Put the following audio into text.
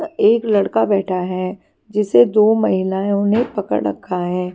एक लड़का बैठा है जिसे दो महिलाओं ने पकड़ रखा है।